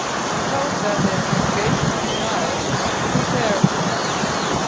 We hope that the investigation and trial will be fair and speedy.